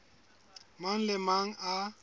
mang le a mang a